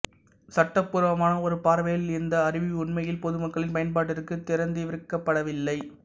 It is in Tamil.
சட்டபூர்வமான ஒரு பார்வையில் இந்த அருவி உண்மையில் பொதுமக்களின் பயன்பாட்டிற்கு திறந்திருக்கப்படவில்லை